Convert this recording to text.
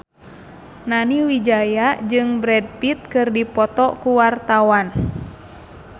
Nani Wijaya jeung Brad Pitt keur dipoto ku wartawan